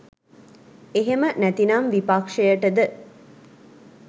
එහෙම නැතිනම් විපක්ෂයටද